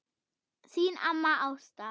Þín amma Ásta.